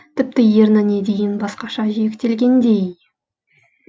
тіпті ерніне дейін басқаша жиектелгендей